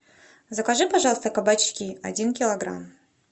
закажи пожалуйста кабачки один килограмм